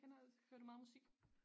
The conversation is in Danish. Kender hører du meget musik